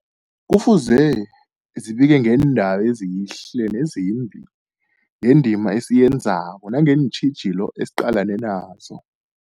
Kufuze zibike ngeendaba ezihle nezimbi, ngendima esiyenzako nangeentjhijilo esiqalene nazo.